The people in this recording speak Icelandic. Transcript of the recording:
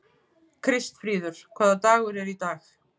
Kristfríður, hvaða dagur er í dag?